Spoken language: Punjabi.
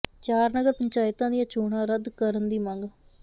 ਚਾਰ ਨਗਰ ਪੰਚਾਇਤਾਂ ਦੀਆਂ ਚੋਣਾਂ ਰੱਦ ਕਰਨ ਦੀ ਮੰਗ